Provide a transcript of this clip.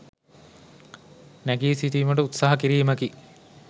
නැගී සිටීමට උත්සාහ කිරීමකි.